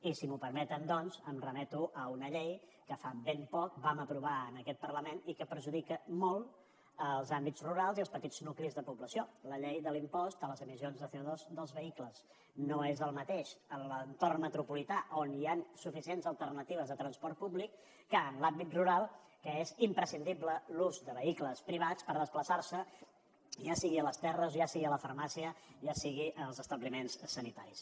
i si m’ho permeten doncs em remeto a una llei que fa ben poc vam aprovar en aquest parlament i que perjudica molt els àmbits rurals i els petits nuclis de població la llei de l’impost a les emissions de cotorn metropolità on hi han suficients alternatives de transport públic que en l’àmbit rural que és imprescindible l’ús de vehicles privats per desplaçar se ja sigui a les terres ja sigui a la farmàcia ja sigui als establiments sanitaris